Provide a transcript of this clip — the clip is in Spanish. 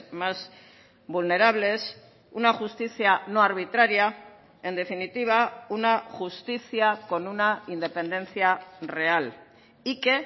más vulnerables una justicia no arbitraria en definitiva una justicia con una independencia real y que